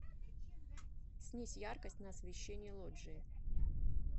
снизь яркость на освещении лоджии